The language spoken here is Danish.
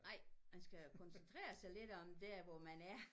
Nej man skal koncentrere sig lidt om der hvor man er